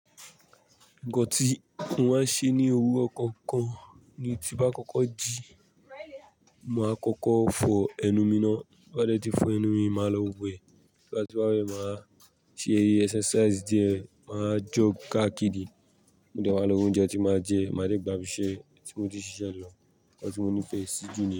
Nǹkan tí mó máa ń ṣe ní òwúrọ̀ kankan ni tí bá kọ́kọ́ ji, màá kọ́kọ́ fọ ẹnu mi náà, bá dẹ́ ti fọ ẹnu mi, màá lọ wẹ̀, bá ti wá wẹ̀, màá ṣe exercise díẹ̀, màá jóg káàkiri, mode màá lo roúnjẹ tí màá jẹ, màá jẹ gbà íbisẹ̀ tí mo ti ṣiṣẹ́ lọ, nǹkan tí mo nífẹ̀ẹ́ sí jù.